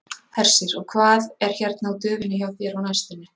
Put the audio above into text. Hersir: Og hvað er hérna á döfinni hjá þér á næstunni?